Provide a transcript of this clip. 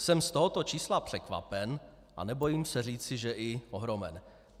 Jsem z tohoto čísla překvapen a nebojím se říci, že i ohromen.